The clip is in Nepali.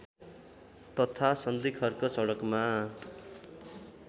तथा सन्धिखर्क सडकमा